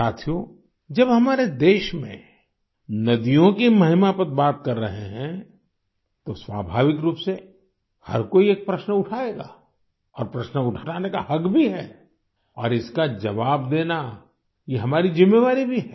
साथियो जब हम हमारे देश में नदियों की महिमा पर बात कर रहे हैं तो स्वाभाविक रूप से हर कोई एक प्रश्न उठाएगा और प्रश्न उठाने का हक भी है और इसका जवाब देना ये हमारी जिम्मेवारी भी है